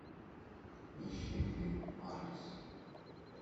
ищи фильм арлисс